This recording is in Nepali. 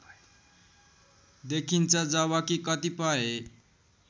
देखिन्छ जबकि कतिपय